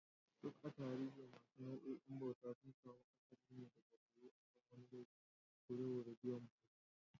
Duk a tarihi, wasu nau'o'in bauta sun samu asali ne daga horo akan wani laifi ko saboda biyan bashi.